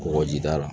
Kɔgɔjida la